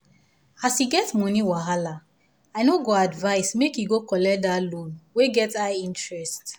as e get money wahala i no go advise make e go collect that loan wey get high interest.